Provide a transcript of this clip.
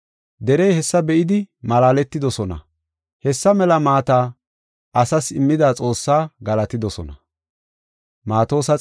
Derey hessa be7idi malaaletidosona. Hessa mela maata asas immida Xoossaa galatidosona.